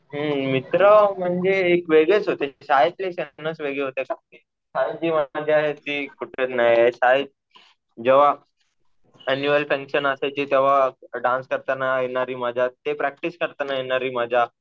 हम्म. मित्र म्हणजे एक वेगळेच होते. शाळेतले क्षणच वेगळे होते. शाळेत जी मजा आहे ती कुठं नाही. शाळेत जेव्हा ऐनुअल फन्क्शन असायचे तेव्हा डान्स करताना येणारी मजा, ते प्रॅक्टिस करताना येणारी मजा